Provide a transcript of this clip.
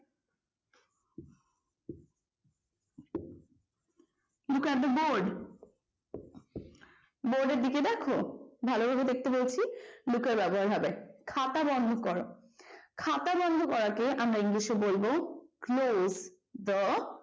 look at the board বোর্ডের দিকে ভালোভাবে দেখতে বলছি look এর ব্যবহার হবে খাতা বন্ধ করো খাতা বন্ধ করাকে আমরা english এ বলবো close the